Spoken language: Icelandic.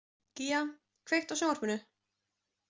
Gía, kveiktu á sjónvarpinu.